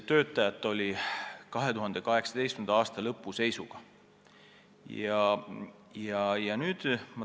Meil oli 2018. aasta lõpu seisuga 87 töötajat.